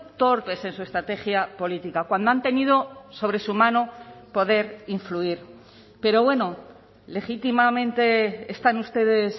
torpes en su estrategia política cuando han tenido sobre su mano poder influir pero bueno legítimamente están ustedes